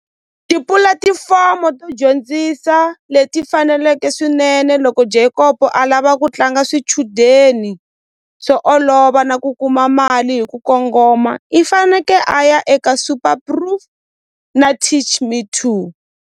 Tipulatifomo to dyondzisa leti faneleke swinene loko Jacob a lava ku tlanga swichudeni swo olova na ku kuma mali hi ku kongoma i faneke a ya eka super proof na teach me to.